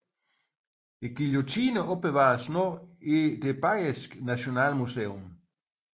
Guillotinen opbevares nu i det bayerske nationalmuseum